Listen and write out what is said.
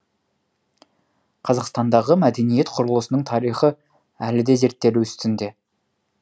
қазақстандағы мәдениет құрылысының тарихы әлі де зерттелу үстінде